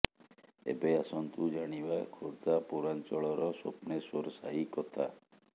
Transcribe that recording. ଏବେ ଆସନ୍ତୁ ଜାଣିବା ଖୋର୍ଦ୍ଧା ପୌରାଞ୍ଚଳର ସ୍ୱପ୍ନେଶ୍ୱର ସାହି କଥା